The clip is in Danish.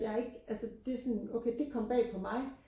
jeg er ikke altså det sådan okay det kom bag på mig